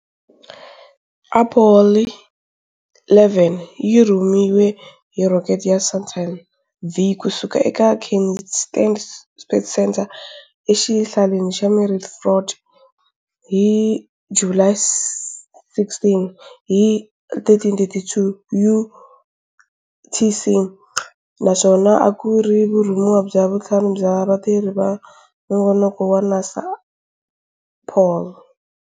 Apollo 11 yi rhumiwe hi rocket ya Saturn V ku suka eka Kennedy Space Center eXihlaleni xa Merritt, Florida, hi July 16 hi 13-32 UTC, naswona a ku ri vurhumiwa bya vuntlhanu bya vatirhi va nongonoko wa NASA wa Apollo.